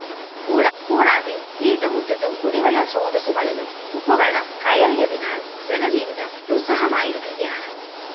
കൂടാതെ വീട്ടുമുറ്റത്തും കുടിവെളള സ്രോതസുകളിലും ഉപ്പുവെളളം കയറിയതിനാല്‍ ജനജീവിതം ദുസ്സഹമായിരിക്കുകയാണ്